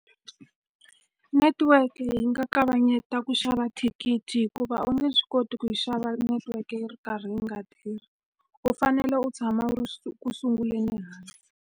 Netiweke yi nga kavanyeta ku xava thikithi hikuva u nge swi koti ku yi xava netiweke yi ri karhi yi nga tirhi. U fanele u tshama u ku sunguleni ehansi.